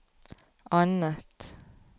annet